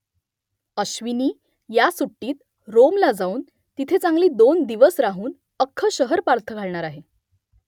अश्विनी ह्या सुट्टीत रोमला जाऊन तिथे चांगली दोन दिवस राहून अख्खं शहर पालथं घालणार आहे